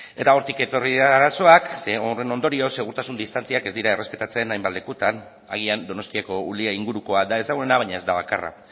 eta hortik etorri dira arazoak ze horren ondorioz segurtasun distantziak ez dira errespetatzen hainbat lekutan agian donostiako ulia ingurukoa da ezaguna baina ez da bakarra